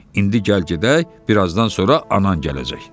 İndi gəl gedək, birazdan sonra anan gələcək.